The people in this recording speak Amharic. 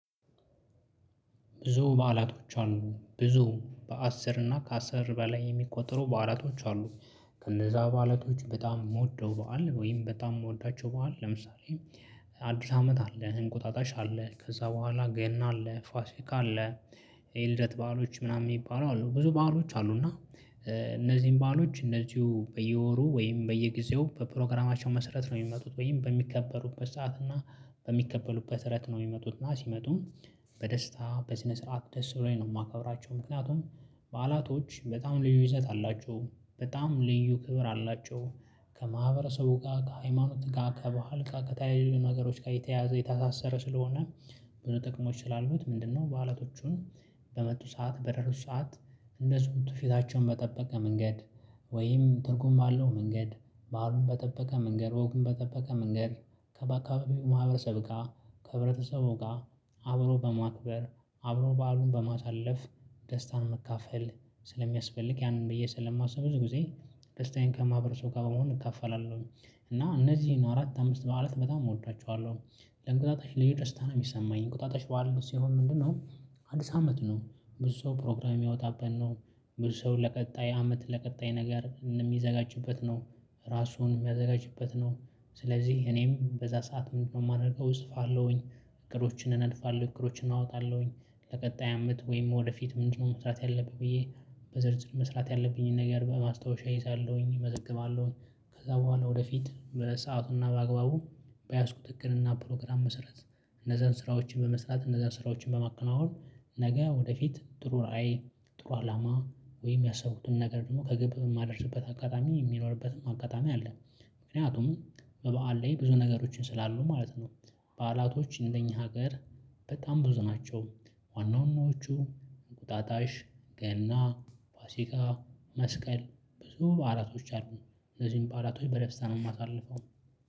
ብዙ በዓላቶች አሉ ብዙ በአስር እና ከአስር በላይ የሚቆጠሩ በዓላቶች አሉ። ከነዛ በዓላቶች በጣም የምወደው በዓል ወይም በጣም የምወዳቸው በዓል ለምሳሌ። አዲስ አመት አለ እህን ቁጣጣሽ አለ ከዛ በኋላ ገና አለ ፋሲካ አለ። የልደት በዓሎች ምናምን የሚባሉ አሉ ብዙ ባህሎች አሉ። እና እነዚህን ባህሎች እነዚህው በየወሩ ወይም በየጊዜው በፕሮግራማቸው መሰረት ነው የሚመጡት ወይም በሚከበሩት በሰአት እና በሚከበሉት በሰአት ነው የሚመጡት እና ሲመጡ በደስታ በስነ ስርዓት ደስ ብሎኝ ነው የማከብራቸው። ምክንያቱም በዓላቶች በጣም ልዩ ይዘት አላቸው በጣም ልዩ ክብር አላቸው። ከማህበረሰቡ ጋር ከሃይማኖት ጋር ከባህል ጋር ከተለያዩ ነገሮች ጋር የተያያዘ የታሰረ ስለሆነ። ብዙ ጥቅሞች ስላሉት ምንድነው በአላቶቹን? በመጡ ሰዓት በደረሱ ሰዓት እንደ ስምቱ ፊታቸውን በጠበቀ መንገድ ወይም ትርጉም አለው። መንገድ ባህሉን በጠበቀ መንገድ ወጉም በጠበቀ መንገድ ከበአካባቢው ማህበረሰብ ጋር ከህብረተሰብ ጋር አብሮ በማክበር አብሮ በዓሉን በማሳለፍ ደስታን መካፈል ስለሚያስፈልግ ያንን ብዬ ስለማስብ ብዙ ጊዜ ደስታዬን ከማህበረሰቡ ጋር በመሆን እካፈላለሁ። እና እነዚህን አራት አምስት በዓለት በጣም እወዳቸዋለሁ። ለእንቅልፋታችን ልጅ ደስታ ነው የሚሰማኝ ቁጣታሽ በኋላ ሲሆን ምንድነው? አዲስ አመት ነው። ብዙ ሰው ፕሮግራም የሚያወጣበት ነው። ብዙ ሰው ለቀጣይ አመት ለቀጣይ ነገር የሚዘጋጅበት ነው። ራሱን የሚያዘጋጅበት ነው። ስለዚህ እኔም በዛ ሰዓት ምንድነው የማደርገው እጽፋለሁኝ። እግሮችን እናልፋለሁ እግሮችን እናወጣለሁኝ። ለቀጣይ አመት ወይም ወደፊት ምንድነው? መስራት ያለብኝ ብዬ በዝርዝር መስራት ያለብኝን ነገር በማስታወሻ ይይዛለሁኝ እመዝግባለሁኝ። ከዛ በኋላ ወደፊት በሰአቱና በአግባቡ በያዝኩ ትክክልና ፕሮግራም መሰረት እነዛን ስራዎችን በመስራት እነዛን ስራዎችን በማከናወን። ነገ ወደፊት ጥሩ ራዕይ ጥሩ አላማ ወይም ያሰቡትን ነገር ደግሞ ከግብ የማደርስበት አጋጣሚ የሚለውልበትም አጋጣሚ አለ። ምክንያቱም በበዓል ላይ ብዙ ነገሮችን ስላሉ ማለት ነው። በዓላቶች እንደኛ ሀገር በጣም ብዙ ናቸው። ዋና ዋናዎቹ እንቁጣጣሽ ገና ፋሲካ መስቀል ብዙ ባኣላቶች አሉኝ። እነዚህን ባላቶች በደስታ ነው የማሳልፈው።